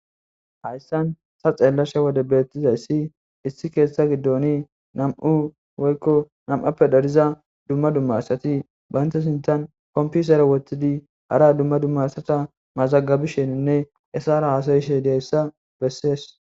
Haysan ta xellashe Dizaysi Namu Woyko namappe darriza duma duma Asati Banta sinthan kompitere Wothidi hara duma duma asata mazagibishene Isara hasa'ishe Dizaysa Besess